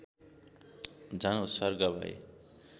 झन् उत्सर्ग भए